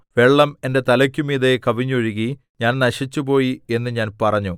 വെള്ളം എന്റെ തലയ്ക്കുമീതെ കവിഞ്ഞൊഴുകി ഞാൻ നശിച്ചുപോയി എന്ന് ഞാൻ പറഞ്ഞു